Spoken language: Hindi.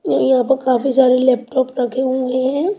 य-यहां पर काफी सारे लैपटॉप रखे हुए हैं।